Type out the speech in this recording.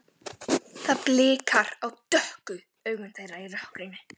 Það blikar á dökku augun þeirra í rökkrinu.